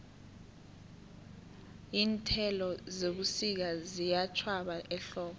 iinthelo zebusika ziyatjhwaba ehlobo